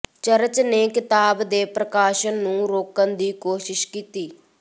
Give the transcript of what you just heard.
church ਨੇ ਕਿਤਾਬ ਦੇ ਪ੍ਰਕਾਸ਼ਨ ਨੂੰ ਰੋਕਣ ਦੀ ਕੋਸ਼ਿਸ਼ ਕੀਤੀ